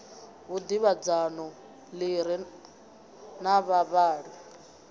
vhudavhidzano ḓi re na vhavhali